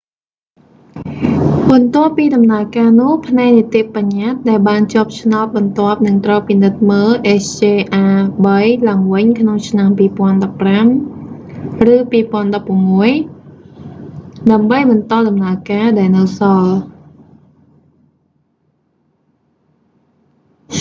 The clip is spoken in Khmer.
បន្ទាប់ពីដំណើរការនោះ ផ្នែកនីតិបញ្ញតិ្តដែលបានជាប់ឆ្នោតបន្ទាប់នឹងត្រូវពិនិត្យមើល hjr-3 ឡើងវិញក្នុងឆ្នាំ 2015 ឬ 2016 ដើម្បីបន្តដំណើរការដែលនៅសល់